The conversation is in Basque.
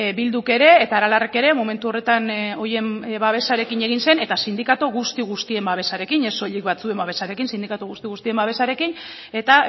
bilduk ere eta aralarrek ere momentu horretan horien babesarekin egin zen eta sindikatu guzti guztien babesarekin ez soilik batzuen babesarekin sindikatu guzti guztien babesarekin eta